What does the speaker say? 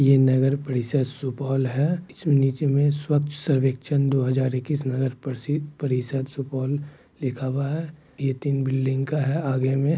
ये नगर परिषद सुपौल है इसमें नीचे मे स्वच्छ सर्वेक्षण दो हजार एक्कीस नगर प्रशिद परिषद सुपौल लिखा हुआ हैं ये तीन बिल्डिंग का हैं आगे मे ---